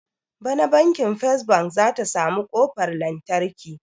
Bana banki first bank zata samu kofar lantarki